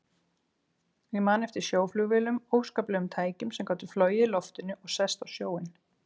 Ég man eftir sjóflugvélum, óskaplegum tækjum sem gátu flogið í loftinu og sest á sjóinn.